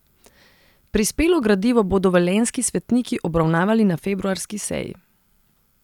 Prispelo gradivo bodo velenjski svetniki obravnavali na februarski seji.